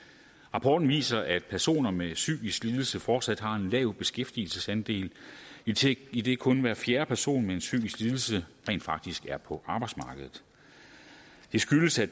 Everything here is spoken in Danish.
rapporten viser at personer med psykisk lidelse fortsat har en lav beskæftigelsesandel idet idet kun hver fjerde person med en psykisk lidelse rent faktisk er på arbejdsmarkedet det skyldes at